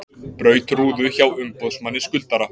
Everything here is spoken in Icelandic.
Braut rúðu hjá umboðsmanni skuldara